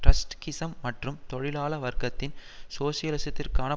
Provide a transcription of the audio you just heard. Trotskyism மற்றும் தொழிலாள வர்க்கத்தின் சோசியலிசத்திற்கான